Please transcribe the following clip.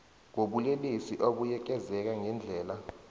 wobulelesi abuyekezeka ngendlela